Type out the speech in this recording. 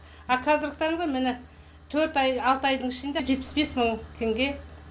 ал қазіргі таңда міне төрт ай алты айдың ішінде жетпіс бес мың теңге